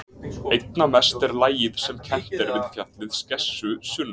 Einna mest er lagið sem kennt er við fjallið Skessu sunnan